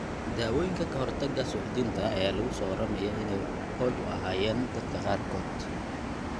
Daawooyinka ka hortagga suuxdinta ayaa lagu soo waramayaa inay wax ku ool u ahaayeen dadka qaarkood.